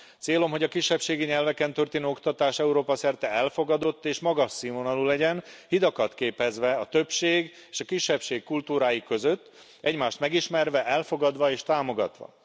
Célom, hogy a kisebbségi nyelveken történő oktatás Európa szerte elfogadott és magas színvonalú legyen, hidakat képezve a többség és a kisebbség kultúrái között, egymást megismerve, elfogadva és támogatva.